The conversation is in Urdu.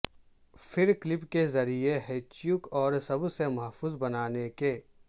پھر کلپ کے ذریعے ھیںچو اور سب سے محفوظ بنانے کے